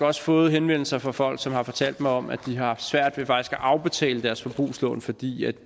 også fået henvendelser fra folk som har fortalt om at de har haft svært ved at afbetale deres forbrugslån fordi